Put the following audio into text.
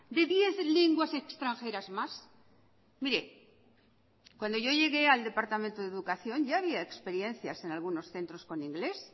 de diez lenguas extranjeras más mire cuando yo llegué al departamento de educación ya había experiencias en algunos centros con inglés